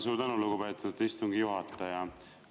Suur tänu, lugupeetud istungi juhataja!